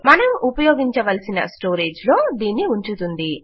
మనము ఉపయోగించవలసిన స్టోరేజ్ లో దీన్ని ఉంచుతుంది